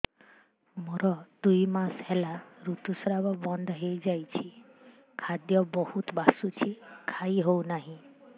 ମୋର ଦୁଇ ମାସ ହେଲା ଋତୁ ସ୍ରାବ ବନ୍ଦ ହେଇଯାଇଛି ଖାଦ୍ୟ ବହୁତ ବାସୁଛି ଖାଇ ହଉ ନାହିଁ